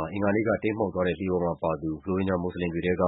ှာ အင်္ဂါနေ့က တိမ်းမှောက်သွားတဲ့ လှေပေါ်မှာပါသူ ရိုဟင်ဂျာ မွတ်ဆလင်တွေထဲက